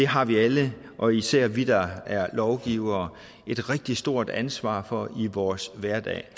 har vi alle og især vi der er lovgivere et rigtig stort ansvar for i vores hverdag